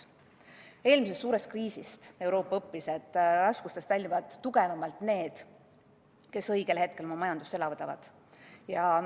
Eelmisest suurest kriisist õppis Euroopa, et raskustest väljuvad tugevamalt need, kes õigel hetkel oma majandust elavdavad.